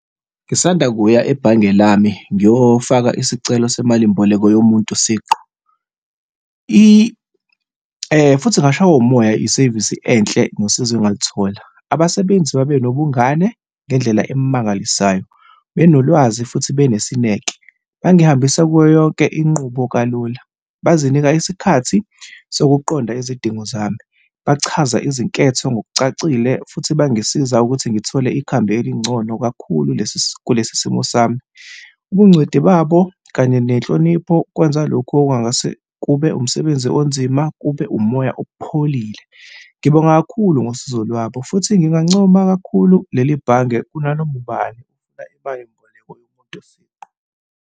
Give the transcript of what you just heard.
Ngisanda kuya ebhange lami ngiyofaka isicelo semalimboleko yomuntu siqu, futhi ngashaywa umoya nge-service enhle nosizo engalithola. Abasebenzi babe nobungane ngendlela emangalisayo. Benolwazi futhi benesineke. Bangihambisa kuyo yonke inqubo kalula. Bazinika isikhathi sokuqonda izidingo zami, bachaza izinketho ngokucacile futhi bangisiza ukuthi ngithole ikhambi elingcono kakhulu kulesi simo sami. Ubungcweti babo kanye nenhlonipho kwenza lokhu okungase kube umsebenzi onzima kube umoya opholile. Ngibonga kakhulu ngosizo lwabo futhi ngingancoma kakhulu leli bhange kunanoma ubani ofuna imalimboleko yomuntu siqu.